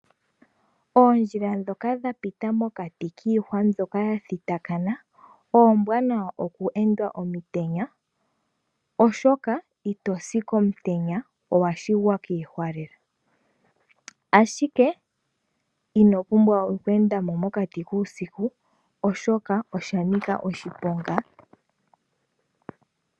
Oondjila ndhoka dha pita mokati kiihwa mbyoka ya thitakana oombwanawa oku endwa omitenya oshoka itosi komutenya owa shigwa kiihwa lela. Ashike ino pumbwa oku enda mo mokati kuusiku oshoka osha nika oshiponga.